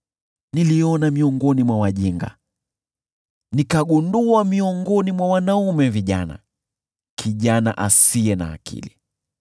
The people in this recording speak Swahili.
Niliona miongoni mwa wajinga, nikagundua miongoni mwa wanaume vijana, kijana asiye na akili.